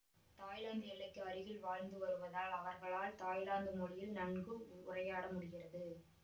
Thailand எல்லைக்கு அருகில் வாழ்ந்து வருவதால் அவர்களால் தாய்லாந்து மொழியில் நன்கு உரையாட முடிகிறது